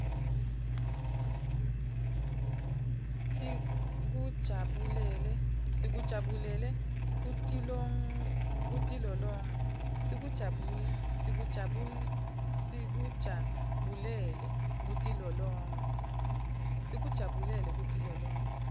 sikujabulele kutilolonga